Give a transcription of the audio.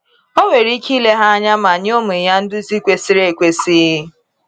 O nwere ike ile ha anya ma nye ụmụ ya nduzi kwesịrị ekwesị.